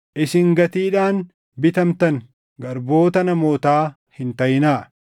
Isin gatiidhaan bitamtan; garboota namootaa hin taʼinaa.